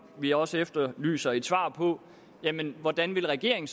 vi også efterlyser et svar på hvordan regeringen